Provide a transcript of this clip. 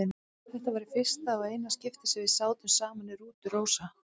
Þetta var í fyrsta og eina skiptið sem við sátum saman í rútu, Rósa.